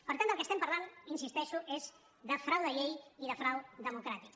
per tant del que parlem hi insisteixo és de frau de llei i de frau democràtic